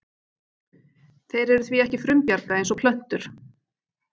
Þeir eru því ekki frumbjarga eins og plöntur.